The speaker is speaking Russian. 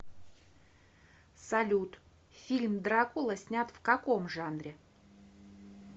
салют фильм дракула снят в каком жанре